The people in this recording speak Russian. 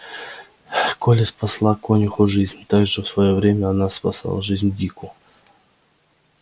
колли спасла конюху жизнь так же в своё время она спасла жизнь дику